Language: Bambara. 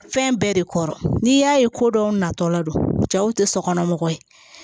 Fɛn bɛɛ de kɔrɔ n'i y'a ye ko dɔw natɔla don cɛw tɛ sokɔnɔ mɔgɔ ye